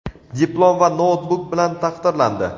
diplom va noutbuk bilan taqdirlandi!.